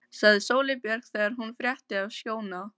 sagði Sóley Björk þegar hún frétti af Skjóna.